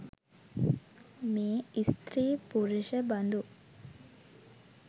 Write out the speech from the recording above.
මේ ස්ත්‍රී පුරුෂ බඳු